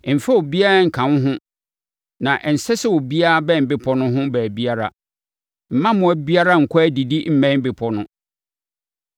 Mfa obiara nka wo ho na ɛnsɛ sɛ obiara bɛn bepɔ no ho baabiara. Mma mmoa biara nkɔ adidi mmɛn bepɔ no.”